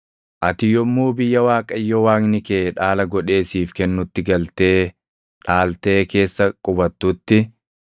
Ati yommuu biyya Waaqayyo Waaqni kee dhaala godhee siif kennutti galtee dhaaltee keessa qubattutti,